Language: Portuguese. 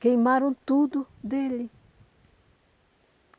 Queimaram tudo dele.